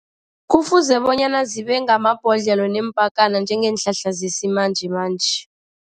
Kufuze bonyana zibe ngamabhodlelo neempakana njengeenhlahla zesimanjemanje.